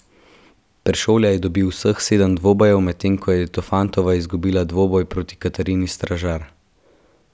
Peršolja je dobil vseh sedem dvobojev, medtem ko je Tofantova izgubila dvoboj proti Katarini Stražar.